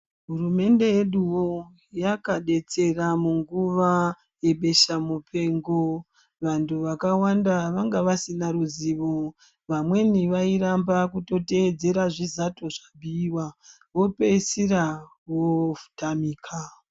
Hurumende yeduo yakadetsera munguva yebesha mupengo vanthu vakawanda vanga vasina ruzivo vamweni vairamba kutoteedzera zvizato zvabhuiwa vopeisira vootamika.